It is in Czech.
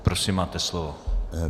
Prosím máte slovo.